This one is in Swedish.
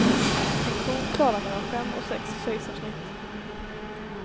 En ko klarar mellan fem och sex kejsarsnitt.